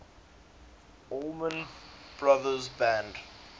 allman brothers band